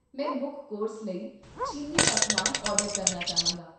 ਮੈਂ ਮੁੱਖ ਕੋਰਸ ਲਈ ਚੀਨੀ ਪਕਵਾਨ ਆਰਡਰ ਕਰਨਾ ਚਾਹਾਂਗਾ